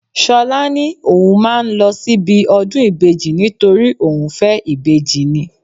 Ṣọlá ní òun máa ń lọ síbi ọdún ìbejì nítorí òun fẹ́ ìbejì ni